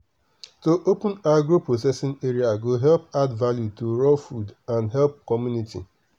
to open agro processing area go help add value to raw food and help community.